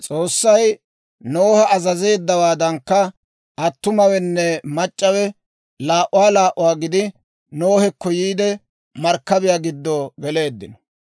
S'oossay Noha azazeeddawaadankka attumawenne mac'c'awe laa"uwaa laa"uwaa gidi, Nohekko yiide markkabiyaa giddo geleeddino.